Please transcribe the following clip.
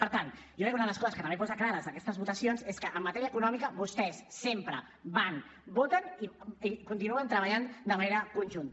per tant jo crec que una de les coses que també posen clares aquestes votacions és que en matèria econòmica vostès sempre van voten i continuen treballant de manera conjunta